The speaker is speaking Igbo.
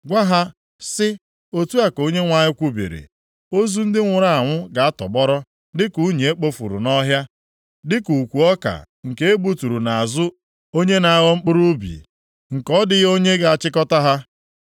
Gwa ha, sị, “Otu a ka Onyenwe anyị kwubiri, “ ‘Ozu ndị nwụrụ anwụ ga-atọgbọrọ dịka unyi e kpofuru nʼọhịa, dịka ukwu ọka nke e gbuturu nʼazụ onye na-aghọ mkpụrụ ubi, nke ọ dịghị onye ga-achịkọta ha.’ ”